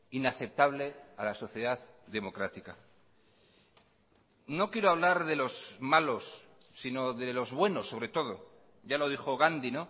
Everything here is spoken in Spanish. inaceptable a la sociedad democrática no quiero hablar de los malos sino de los buenos sobre todo ya lo dijo gandhi